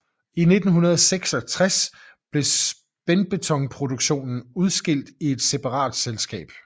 I 1966 blev spændbetonproduktionen udskilt i et separat selskab